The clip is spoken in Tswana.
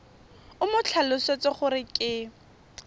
o mo tlhalosetse gore ke